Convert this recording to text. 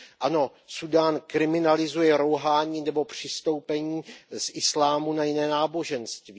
Ano, Súdán kriminalizuje rouhání nebo přestoupení z islámu na jiné náboženství.